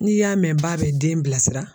N'i y'a mɛn ba bɛ den bilasira